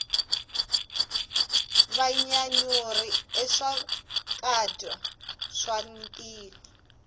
vanyanyuri i swakudya swa matihlo